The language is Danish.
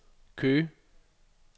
Køge